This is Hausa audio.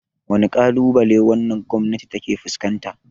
Wane kalubale wannan gwamnati ta ke fuskanta?